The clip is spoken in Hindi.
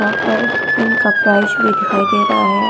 यहां पर इनका प्राइस भी दिखाई दे रहा है।